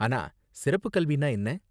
ஆனா சிறப்புக் கல்வின்னா என்ன?